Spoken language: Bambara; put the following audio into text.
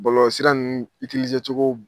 Bɔlɔlɔsira ninnu tise cogo